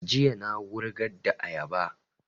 Jiya na wurgar da ayaba